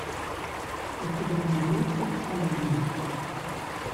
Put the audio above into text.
у тебя найдется конмэн